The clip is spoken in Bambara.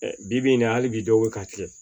Bi bi in na hali bi dɔw bɛ ka kɛ